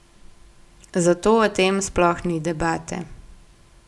Zato o tem sploh ni debate.